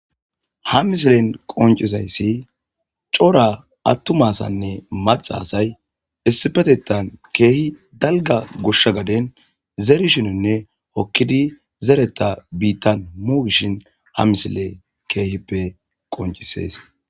ha misilen qoncizayssi cora attuma asaynne macca asay issipetetan keehi dalgga goshsha gaden zeerishininne hokkidi zeretha biittan mogishin ha misile keehippe qoncissees.